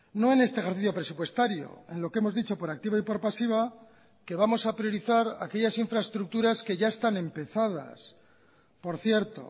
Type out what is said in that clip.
no en este ejercicio presupuestario en lo que hemos dicho por activa y por pasiva que vamos a priorizar aquellas infraestructuras que ya están empezadas por cierto